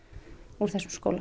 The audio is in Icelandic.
úr þessum skóla